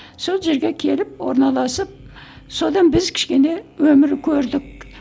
сол жерге келіп орналасып содан біз кішкене өмір көрдік